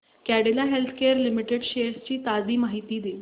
Cadila healthcare limited shares ची ताजी माहिती दे